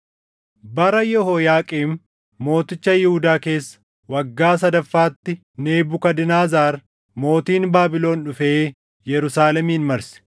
Bara Yehooyaaqiim mooticha Yihuudaa keessa, waggaa sadaffaatti Nebukadnezar mootiin Baabilon dhufee Yerusaalemin marse.